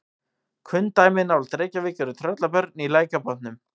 Kunn dæmi nálægt Reykjavík eru Tröllabörn í Lækjarbotnum.